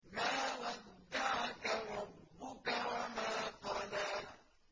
مَا وَدَّعَكَ رَبُّكَ وَمَا قَلَىٰ